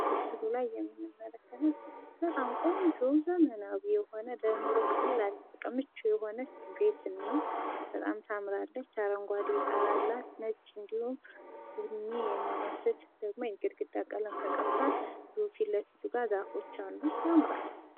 በምስሉ ላይ የምንመለከተው በጣም ቆንጆ ፣ ዘመናዊ የሆነች ፣ ለኑሮ የምትመች፣ አረንጓዴ ቆርቆሮ፣ ቡኒ የሚመስል ግድግዳ እና ፊት ልፊቱ ላይ ዛፎች ያሉበትን ቤት ነው።